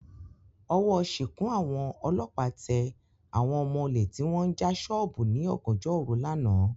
Ọwọ́ sìnkún àwọn ọlọ́pàá tẹ àwọn ọmọ olè tí wọ́n ń já sọ́ọ̀bù ní ọ̀gànjọ́ òru lánàá